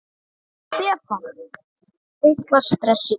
Stefán: Eitthvað stress í gangi?